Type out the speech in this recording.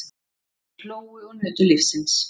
Þeir hlógu og nutu lífsins.